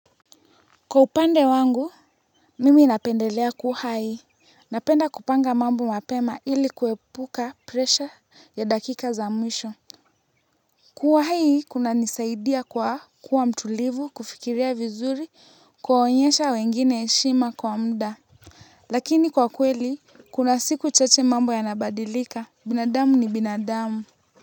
Kwa upande wangu, mimi napendelea kuhai, napenda kupanga mambo mapema ili kuepuka presha ya dakika za mwisho. Kuwa hai kunanisaidia kwa, kuwa mtulivu, kufikiria vizuri, kuwaonyesha wengine heshima kwa muda. Lakini kwa kweli, kuna siku chache mambo yanabadilika, binadamu ni binadamu.